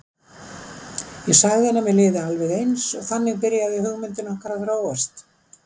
Ég sagði að mér liði alveg eins og þannig byrjaði hugmyndin okkar að þróast.